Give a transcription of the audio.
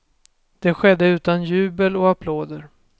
Det skedde utan jubel och applåder.